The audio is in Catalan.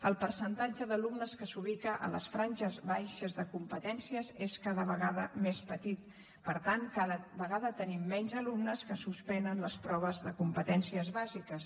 el percentatge d’alumnes que s’ubica a les franges baixes de competències és cada vegada més petit per tant cada vegada tenim menys alumnes que suspenen les proves de competències bàsiques